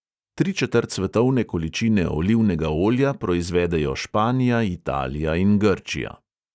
Tri četrt svetovne količine olivnega olja proizvedejo španija, italija in grčija.